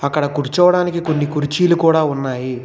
అక్కడ కూర్చోవడానికి కొన్ని కుర్చీలు కూడా ఉన్నాయి.